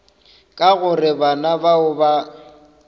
ka gore bana bao ba